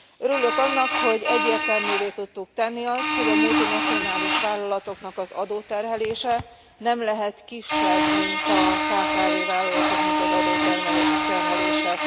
Örülök annak, hogy egyértelművé tudtuk tenni azt, hogy a multinacionális vállalatoknak az adóterhelése nem lehet kisebb, mint a kkv vállalatoknak az adóterhelése.